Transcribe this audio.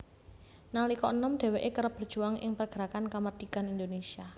Nalika enom dheweke kerep berjuang ing pergerakan kamardikan Indonesia